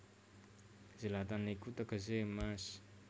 Zlatan iku tegesé emas